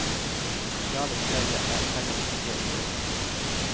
Det sosiale opplegget er heller ikke dårlig.